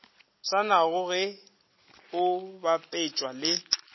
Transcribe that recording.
swanago ge o bapetšwa le